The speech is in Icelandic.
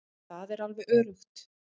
Það er alveg öruggt.